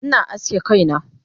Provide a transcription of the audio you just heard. Ina aske kaina